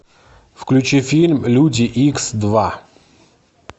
включи фильм люди икс два